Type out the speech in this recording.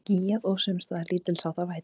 Skýjað og sums staðar lítilsháttar væta